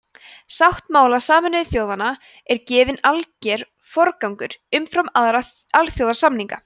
sáttmála sameinuðu þjóðanna er gefinn alger forgangur umfram aðra alþjóðasamninga